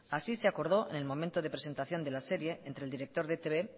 así se acordó en el momento de presentación de la serie entre el director de e i te be